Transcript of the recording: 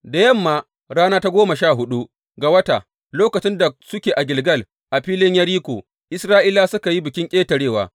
Da yamman rana ta goma sha huɗu ga wata, lokacin da suke a Gilgal a filin Yeriko, Isra’ilawa suka yi Bikin Ƙetarewa.